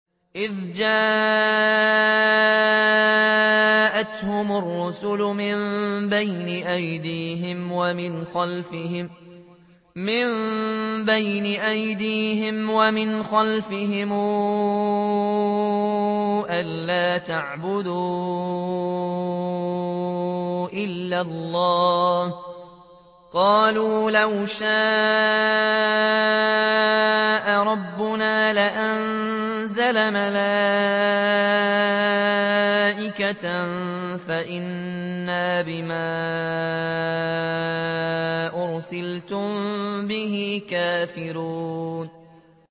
إِذْ جَاءَتْهُمُ الرُّسُلُ مِن بَيْنِ أَيْدِيهِمْ وَمِنْ خَلْفِهِمْ أَلَّا تَعْبُدُوا إِلَّا اللَّهَ ۖ قَالُوا لَوْ شَاءَ رَبُّنَا لَأَنزَلَ مَلَائِكَةً فَإِنَّا بِمَا أُرْسِلْتُم بِهِ كَافِرُونَ